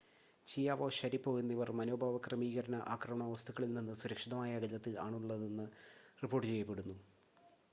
Chiao Sharipov എന്നിവർ മനോഭാവ ക്രമീകരണ ആക്രമണ വസ്തുക്കളിൽനിന്ന് സുരക്ഷിതമായ അകലത്തിൽ ആണുള്ളതെന്ന് റിപ്പോർട്ട് ചെയ്യപ്പെടുന്നു